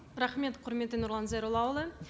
рахмет құрметті нұрлан зайроллаұлы